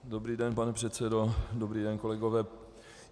Dobrý den, pane předsedo, dobrý den, kolegové.